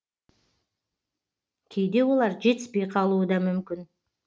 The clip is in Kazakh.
кейде олар жетіспей қалуы да мүмкін